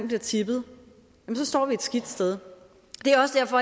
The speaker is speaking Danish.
bliver tippet står vi et skidt sted